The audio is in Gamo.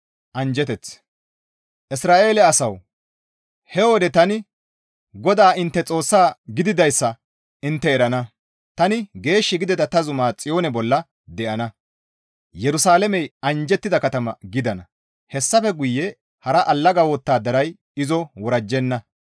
«Isra7eele asawu! He wode tani GODAA intte Xoossa gididayssa intte erana; tani geesh gidida ta zuma Xiyoone bolla de7ana; Yerusalaamey anjjettida katama gidana; hessafe guye hara allaga wottadaray izo worajjenna.